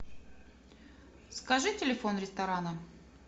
скажи телефон ресторана